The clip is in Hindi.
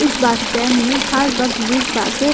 इस बस स्टैंड में हर वक्त बीस बासे --